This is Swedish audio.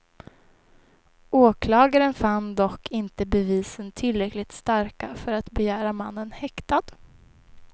Åklagaren fann dock inte bevisen tillräckligt starka för att begära mannen häktad.